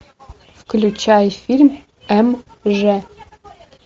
включай фильм м ж